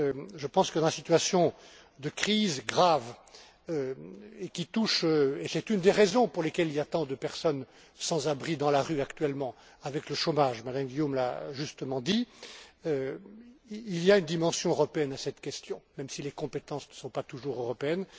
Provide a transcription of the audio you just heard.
Je pense que, dans la situation de crise grave qui nous touche et c'est une des raisons pour lesquelles il y a tant de personnes sans abri dans la rue actuellement, avec le chômage, Mme Guillaume l'a justement dit il y a une dimension européenne à cette question même si les compétences ne sont pas toujours européennes.